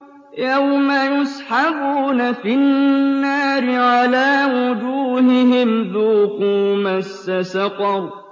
يَوْمَ يُسْحَبُونَ فِي النَّارِ عَلَىٰ وُجُوهِهِمْ ذُوقُوا مَسَّ سَقَرَ